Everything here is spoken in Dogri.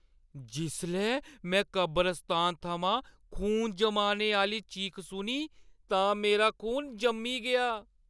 जिसलै में कबरसतान थमां खून जमाने आह्अ‌ली चीख सुनी तां मेरा खून जम्मी गेआ।